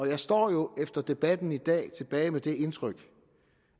jeg står jo efter debatten i dag tilbage med det indtryk